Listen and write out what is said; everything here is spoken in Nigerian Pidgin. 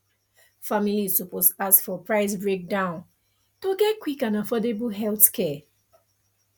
families suppose ask for price breakdown to get quick and affordable healthcare